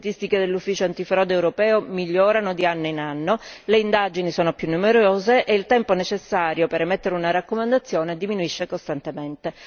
Le statistiche dell'ufficio antifrode migliorano di anno in anno, le indagini sono più numerose e il tempo necessario per emettere una raccomandazione diminuisce costantemente.